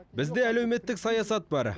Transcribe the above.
бізде әлеуметтік саясат бар